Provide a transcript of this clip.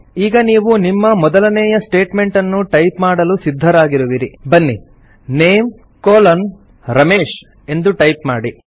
ಈಗ ನೀವು ನಿಮ್ಮ ಮೊದಲನೇಯ ಸ್ಟೇಟ್ಮೆಂಟನ್ನು ಟೈಪ್ ಮಾಡಲು ಸಿದ್ಧರಾಗಿರುವಿರಿ ಬನ್ನಿ NAME ರಮೇಶ್ ಎಂದು ಟೈಪ್ ಮಾಡಿ